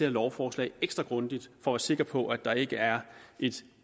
lovforslag ekstra grundigt for at være sikker på at der ikke er et